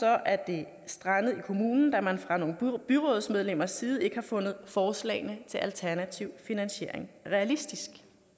er det strandet i kommunen da man fra nogle byrådsmedlemmers side ikke har fundet forslagene til alternativ finansiering realistisk